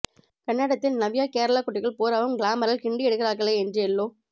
கன்னடத்தில் நவ்யா கேரளாக் குட்டிகள் பூராவும் கிளாமரில் கிண்டியெடுக்கிறார்களே என்று எல்லோ